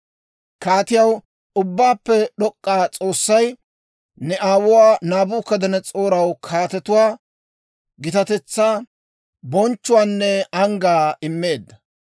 «Kaatiyaw, Ubbaappe d'ok'k'iyaa S'oossay ne aawuwaa Naabukadanas'ooraw kaatetuwaa, gitatetsaa, bonchchuwaanne anggaa immeedda.